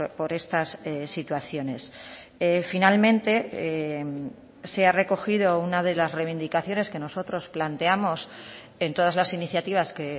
por estas situaciones finalmente se ha recogido una de las reivindicaciones que nosotros planteamos en todas las iniciativas que